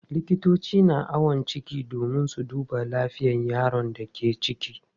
Likitoci na awon ciki domin su duba lafiyar yaron da ke ciki.